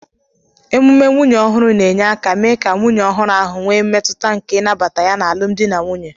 Emume nwunye ọhụrụ na-enye aka mee ka nwunye ọhụrụ ahụ nwee mmetụta nke ịnabata ya n'alụmdi na nwunye.